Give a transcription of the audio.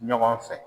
Ɲɔgɔn fɛ